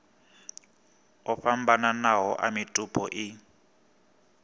o fhambananaho a mitupo i